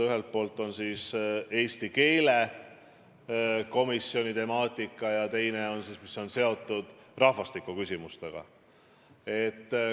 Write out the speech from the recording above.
Ühelt poolt on tegu eesti keele komisjoniga ja teine on seotud rahvastiku küsimustega.